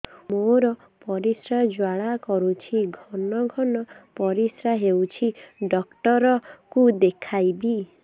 ମୋର ପରିଶ୍ରା ଜ୍ୱାଳା କରୁଛି ଘନ ଘନ ପରିଶ୍ରା ହେଉଛି ଡକ୍ଟର କୁ ଦେଖାଇବି